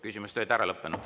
Küsimused on lõppenud.